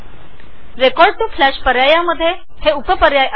record to flash ऑप्शनमध्ये हे उपपर्याय आहेत